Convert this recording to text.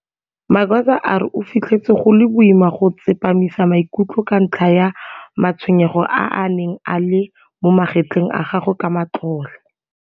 Magwaza a re o fitlhetse go le boima go tsepamisa maikutlo ka ntlha ya matshwenyego a a neng a le mo magetleng a gagwe ka matlole.